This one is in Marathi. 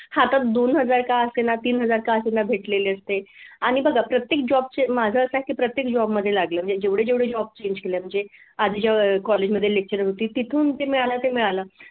हातात दोन हजार का असेना तीन हजार का असेना भेटलेली असते आणि बघा प्रत्येक job चे माझ असं आहे प्रत्येक job मध्ये लागलं म्हणजे जेवढे जेवढे job change केले म्हणजे आधी जेव्हा college मध्ये lecturer होती तिथून ते मिळालं ते मिळालं.